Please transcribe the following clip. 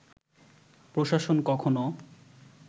প্রশাসন কখনো